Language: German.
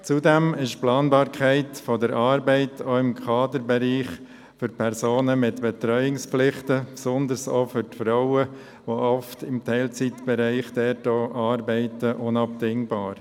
Zudem ist die Planbarkeit der Arbeit auch im Kaderbereich für Personen mit Betreuungspflichten, besonders auch für die Frauen, die oft im Teilzeitbereich arbeiten, unabdingbar.